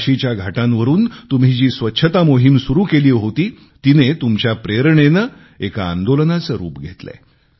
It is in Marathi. काशीच्या घाटांवरून तुम्ही जी स्वच्छता मोहीम सुरू केली होती तिने तुमच्या प्रेरणेने एका आंदोलनाचे रूप घेतलेय